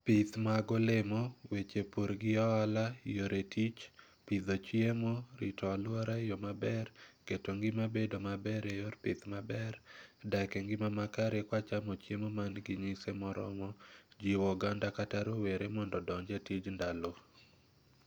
Pith mag olemo, weche pur gi oala, yore tich, pidho chiemo, rito alwora e yo maber, keto ngima bedo maber e yor pith maber, gak e ngima makare kwa chamo chiemo man gi nyise moromo, jiwo oganda kata rowere mondo odonj e tij ndalo.